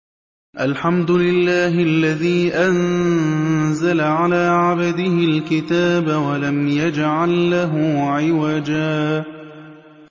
الْحَمْدُ لِلَّهِ الَّذِي أَنزَلَ عَلَىٰ عَبْدِهِ الْكِتَابَ وَلَمْ يَجْعَل لَّهُ عِوَجًا ۜ